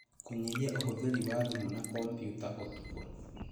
Kũnyihia ũhũthĩri wa thimũ na kompiuta ũtukũ